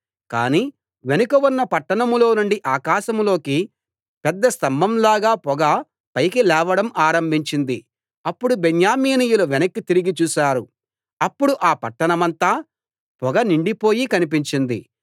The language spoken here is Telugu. కాని వెనుక ఉన్న పట్టణంలో నుండి ఆకాశంలోకి పెద్ద స్తంభంలాగా పొగ పైకి లేవడం ఆరంభించింది అప్పుడు బెన్యామీనీ యులు వెనక్కి తిరిగి చూశారు అప్పుడు ఆ పట్టణమంతా పొగ నిండిపోయి కనిపించింది